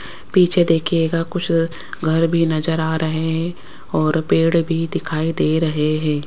पीछे देखिएगा कुछ घर भी नजर आ रहे हैं और पेड़ भी दिखाई दे रहे हैं।